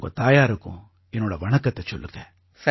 உங்க தாயாருக்கும் என்னோட வணக்கத்தைச் சொல்லுங்க